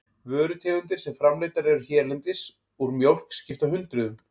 Vörutegundir sem framleiddar eru hérlendis úr mjólk skipta hundruðum.